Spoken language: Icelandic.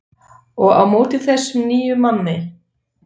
Og á móti þessum nýja manni.